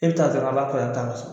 E bɛ taa dɔrɔnw a b'a fɔ an ta'an so.